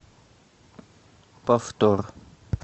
повтор